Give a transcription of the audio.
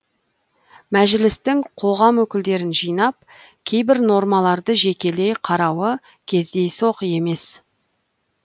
мәжілістің қоғам өкілдерін жинап кейбір нормаларды жекелей қарауы кездейсоқ емес